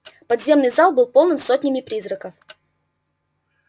подземный зал был полон сотнями призраков